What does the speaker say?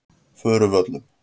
Furuvöllum